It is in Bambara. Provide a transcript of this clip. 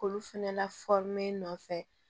K'olu fɛnɛ lafɔri nɔfɛ